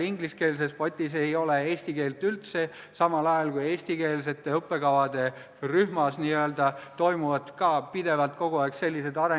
Ingliskeelses potis ei ole eesti keelt üldse, samal ajal kui eestikeelsete õppekavade rühmas toimub pidevalt, kogu aeg areng inglise keele poole.